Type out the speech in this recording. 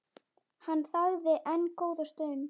Hann þagði enn góða stund.